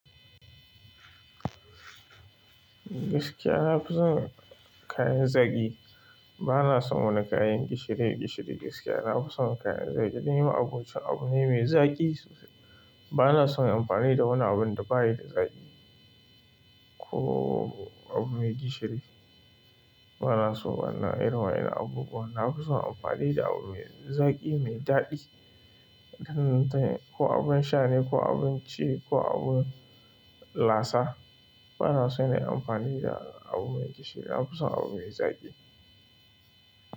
Gaskiya nafi son kayan zaki bana son wani kayan gishiri, gishiri gaskiya. Na fi son kayan zaƙi, nema abun ci abu mai zaƙi sosai. Bana son amfani da wani abun da bayi da zaƙi ko abu mai gishiri. Bana so irin wayen nan abubuwa. Na fi son amfani da abu mai zaƙi, mai daɗi. Dan dan ko abun shane, ko abun ci, ko abu lasa. Bana son yin amfani da abu mai gishiri. Na fi son abu mai zaƙi.